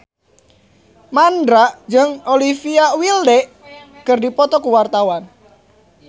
Mandra jeung Olivia Wilde keur dipoto ku wartawan